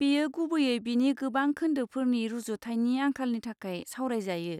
बेयो गुबैयै बिनि गोबां खोन्दोफोरनि रुजुथायनि आंखालनि थाखाय सावरायजायो।